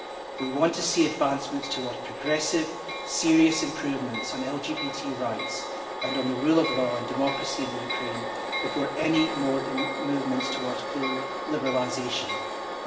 We want to see advancements towards progressive, serious improvements in LGBT rights and on the rule of law and democracy in the Ukraine before any more movements towards full liberalisation are made.